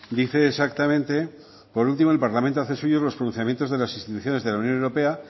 dice exactamente por último el parlamento hace suyos los pronunciamientos de las instituciones de la unión europea